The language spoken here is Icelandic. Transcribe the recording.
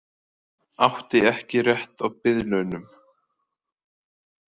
Átti ekki rétt á biðlaunum